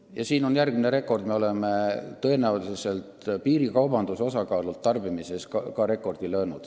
Ja siin on järgmine rekord: me oleme tõenäoliselt rekordi löönud ka piirikaubanduse osakaalult kogutarbimises.